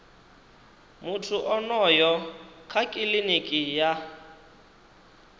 muthu onoyo kha kiliniki ya